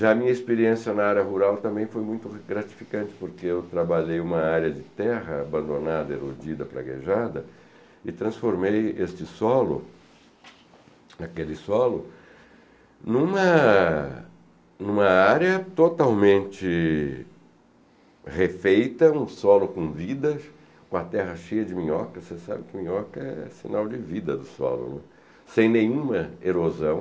Já a minha experiência na área rural também foi muito gratificante, porque eu trabalhei uma área de terra abandonada, erodida, praguejada, e transformei este solo, aquele solo, em uma, em uma área totalmente refeita, um solo com vidas, uma terra cheia de minhoca, você sabe que minhoca é sinal de vida do solo, né, sem nenhuma erosão,